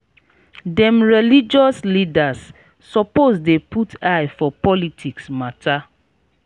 dem religious leaders suppose dey put eye for politics mata.